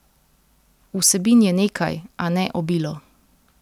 Vsebin je nekaj, a ne obilo.